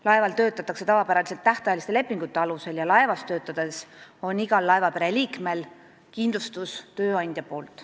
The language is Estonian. Laeval töötatakse tavapäraselt tähtajaliste lepingute alusel ja laevas töötades tagab iga laevapere liikme kindlustuse tööandja.